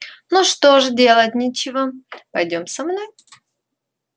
ну что ж делать нечего пойдём со мной